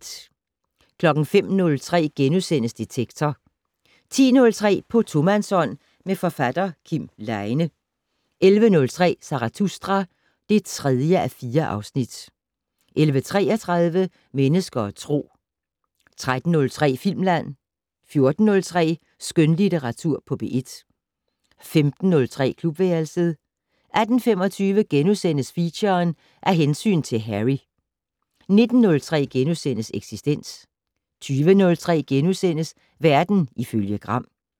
05:03: Detektor * 10:03: På tomandshånd med forfatter Kim Leine 11:03: Zarathustra (3:4) 11:33: Mennesker og Tro 13:03: Filmland 14:03: Skønlitteratur på P1 15:03: Klubværelset 18:25: Feature: Af hensyn til Harry * 19:03: Eksistens * 20:03: Verden ifølge Gram *